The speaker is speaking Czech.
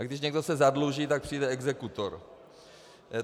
A když se někdo zadluží, tak přijde exekutor.